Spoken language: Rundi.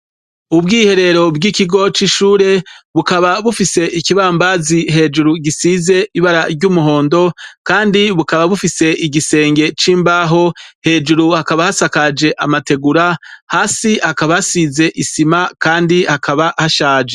Ubwiherero bw'ikigo c'ishure, bukaba bufise ikibambazi hejuru gisize ibara ry'umuhondo, kandi bukaba bufise igisenge c'imbaho, hejuru hakaba hasakaje amategura, hasi hakaba hasize isima kandi hakaba hashaje.